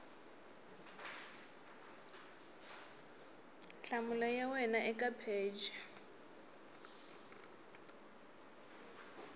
nhlamulo ya wena eka pheji